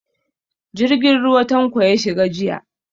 Jirgin ruwa Tanko ya shiga jiya.